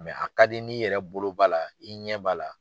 a ka di n'i yɛrɛ bolo b'a la i ɲɛ b'a la.